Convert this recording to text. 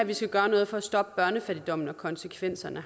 vi skal gøre noget for at stoppe børnefattigdommen og konsekvenserne